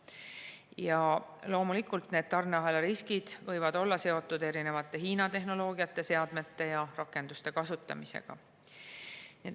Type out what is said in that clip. Ja loomulikult, need tarneahela riskid võivad olla seotud Hiina tehnoloogia, seadmete ja rakenduste kasutamisega.